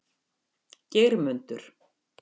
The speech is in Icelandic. Geirmundur